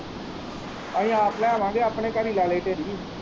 ਅਸੀਂ ਆਪ ਲੈ ਆਵਾਂਗੇ ਆਪਣੇ ਘਰ ਹੀ ਲਾ ਲਉ ਢੇਰੀ।